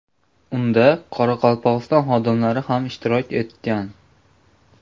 Unda Qoraqalpog‘iston xodimlari ham ishtirok etgan.